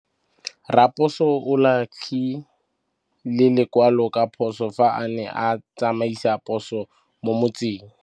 Raposo o latlhie lekwalô ka phosô fa a ne a tsamaisa poso mo motseng.